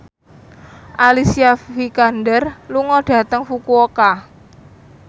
Alicia Vikander lunga dhateng Fukuoka